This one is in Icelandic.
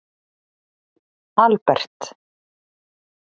Albert